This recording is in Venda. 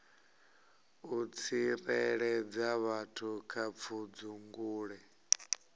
u tsireledza vhathu kha pfudzungule